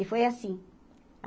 E foi assim.